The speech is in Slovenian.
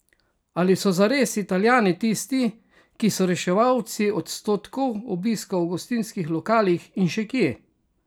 Ali so zares Italijani tisti, ki so reševalci odstotkov obiska v gostinskih lokalih in še kje?